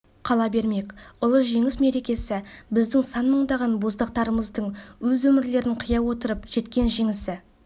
қала бермек ұлы жеңіс мерекесі біздің сан мыңдаған боздақтарымыздың өз өмірлерін қия отырып жеткен жеңісі